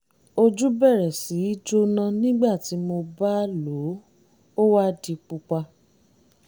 ojú bẹ̀rẹ̀ sí í jóná nígbà tí mo bá lò ó ó wá di pupa